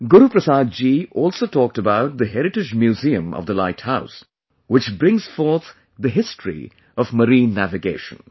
Guru Prasad ji also talked about the heritage Museum of the light house, which brings forth the history of marine navigation